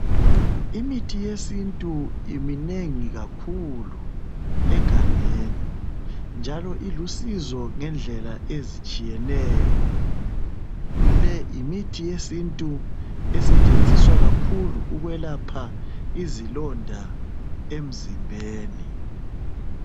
Imithi yesintu iminengi kakhulu egangeni, njalo ilusizo ngendlela ezitshiyeneyo. Le yimuthi yesintu, esetshenziswa kakhuu, ukwelapha izilonda emzimbeni.